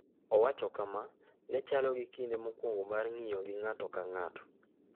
Owacho kama: “Ne chalo gi kinde mokwongo mar ng’iyo gi ng’ato ka ng’ato.”